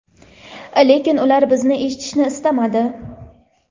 lekin ular bizni eshitishni istamadi.